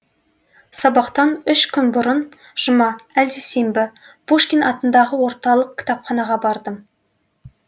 сабақтан үш күн бұрын жұма әлде сенбі пушкин атындағы орталық кітапханаға бардым